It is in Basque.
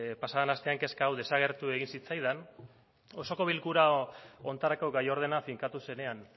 pasa den astean kezka hau desagertu egin zitzaidan osoko bilkura honetarako gai ordena finkatu zenean